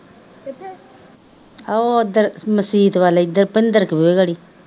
ਉਹ ਉੱਧਰ ਮਸੀਤ ਵੱਲ ਇੱਧਰ ਭਿੰਦਰ ਕੇ ਬੂਹੇ ਘਰੀ